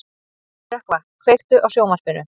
Rökkva, kveiktu á sjónvarpinu.